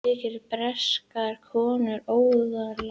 Þykir breskar konur óaðlaðandi